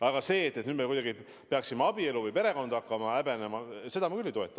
Aga seda, et me nüüd peaksime abielu või perekonda hakkama häbenema, ma küll ei toeta.